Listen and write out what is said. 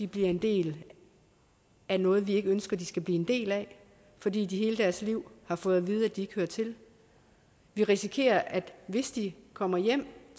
bliver en del af noget vi ikke ønsker de skal blive en del af fordi de hele deres liv har fået at vide at de ikke hører til vi risikerer at hvis de kommer hjem